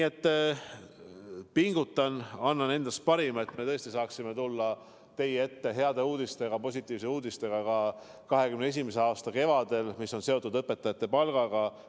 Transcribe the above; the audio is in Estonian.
Ma pingutan, annan endast parima, et me tõesti saaksime 2021. aasta kevadel tulla teie ette heade, positiivsete uudistega õpetajate palga kohta.